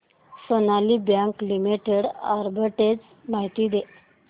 Sonali bank limited arbitrage माहिती दे